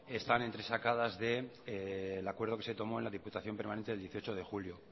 están entresacadas del acuerdo que se tomó en la diputación permanente del dieciocho de julio